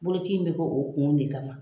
Bolokoci in bɛ kɛ oo kun de kama.